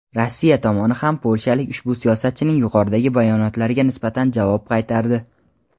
Rossiya tomoni ham polshalik ushbu siyosatchining yuqoridagi bayonotlariga nisbatan javob qaytardi.